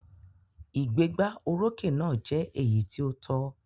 Ìgbégbá orókè náà jẹ́ èyí tí ó tọ́.